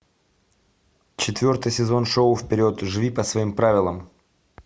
четвертый сезон шоу вперед живи по своим правилам